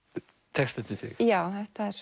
texta eftir þig já